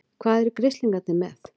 HVAÐ ERU GRISLINGARNIR MEÐ?